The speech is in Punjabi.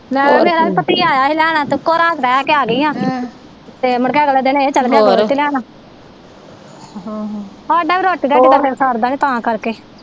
ਮੈ ਕਿਹਾ ਮੇਰਾ ਵੀ ਭਤੀਆ ਆਇਆ ਹੀ ਲੈਣ ਤੇ ਰਹਿ ਕੇ ਆ ਗਈ ਆ ਤੇ ਮੁੜਕੇ ਅਗਲੇ ਦਿਨ ਇਹ ਚਲਗਿਆ ਲੈਣ ਹਾਡਾ ਵੀ ਰੋਟੀ ਰੂਟੀ ਦਾ ਫਿਰ ਸਰਦਾ ਨਹੀਂ ਤਾਂ ਕਰਕੇ